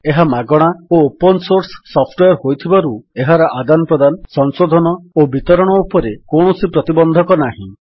ଏହା ମାଗଣା ଓ ଓପନ୍ ସୋର୍ସ ସଫ୍ଟୱେର୍ ହୋଇଥିବାରୁ ଏହାର ଆଦାନ ପ୍ରଦାନ ସଂଶୋଧନ ଓ ବିତରଣ ଉପରେ କୌଣସି ପ୍ରତିବନ୍ଧକ ନାହିଁ